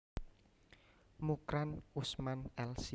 Mukran Usman Lc